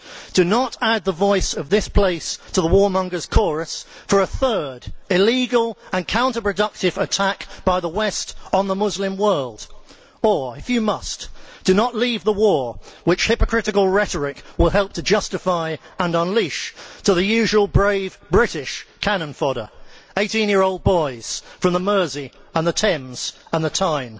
Do not add the voice of this place to the warmongers' chorus for a third illegal and counterproductive attack by the West on the Muslim world. Or, if you must, do not leave the war which hypocritical rhetoric will help to justify and unleash to the usual brave British cannon fodder 18 year old boys from the Mersey and the Thames and the Tyne.